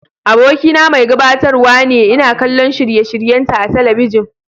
Abokina mai gabatarwa ne, ina kallon shirye-shiryenta a talabijin.